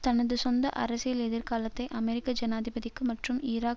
தனது சொந்த அரசியல் எதிர்காலத்தை அமெரிக்க ஜனாதிபதிக்கு மற்றும் ஈராக்